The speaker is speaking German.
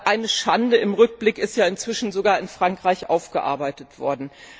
Eine Schande im Rückblick ist ja inzwischen sogar in Frankreich aufgearbeitet worden.